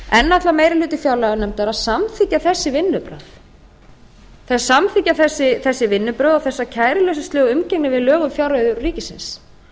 enn ætlar meiri hluti fjárlaganefndar að samþykkja þessi vinnubrögð og þessa kæruleysislegu umgengni við lög um fjárreiður ríkisins